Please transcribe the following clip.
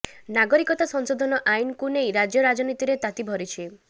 ନାଗରିକତା ସଂଶୋଧନ ଆଇନ୍କୁ ନେଇ ରାଜ୍ୟ ରାଜନୀତିରେ ତାତି ଭରିଛି